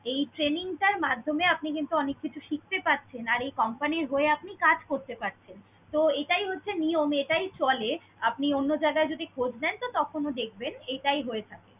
এই training টার মাধ্যমে আপনি কিন্তু অনেক কিছু শিখতে পারছেন আর এই company এর হয়ে আপনি কাজ করতে পারছেন। তো এটাই হচ্ছে নিয়ম, এটাই চলে। আপনি অন্য জায়গায় যদি খোজ নেন তো তখনও দেখবেন এটাই হয়ে থাকে।